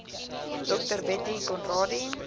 dr bettie conradie